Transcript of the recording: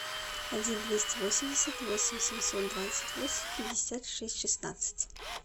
один двести восемьдесят восемь семьсот двадцать восемь пятьдесят шесть шестнадцать